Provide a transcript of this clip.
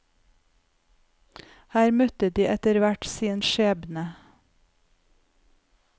Her møtte de etterhvert sin skjebne.